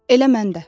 Elə mən də.